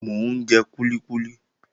Mò ń jẹ kúlíkúlí.